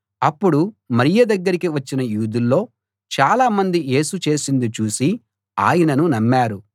అప్పుడు మరియ దగ్గరికి వచ్చిన యూదుల్లో చాలామంది యేసు చేసింది చూసి ఆయనను నమ్మారు